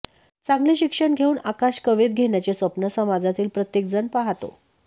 चांगले शिक्षण घेऊन आकाश कवेत घेण्याचे स्वप्न समाजातील प्रत्येकजण पाहतो